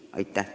Aitäh!